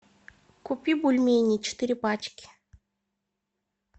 купи бульмени четыре пачки